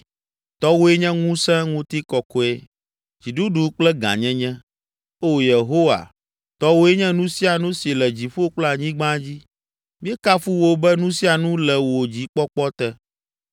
Tɔwòe nye ŋusẽ, ŋutikɔkɔe, dziɖuɖu kple gãnyenye. Oo, Yehowa, tɔwòe nye nu sia nu si le dziƒo kple anyigba dzi, míekafu wò be nu sia nu le wò dzikpɔkpɔ te.